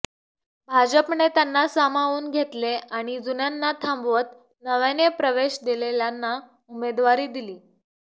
भाजपने त्यांना सामावून घेतले आणि जुन्यांना थांबवत नव्याने प्रवेश दिलेल्यांना उमेदवारी दिली